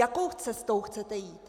Jakou cestou chcete jít?